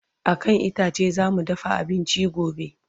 a kan itace zamu dafa abinci gobe